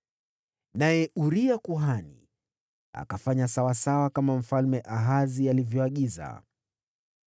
Naye Uria kuhani akafanya kama Mfalme Ahazi alivyoagiza.